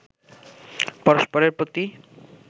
পরস্পরেরর প্রতি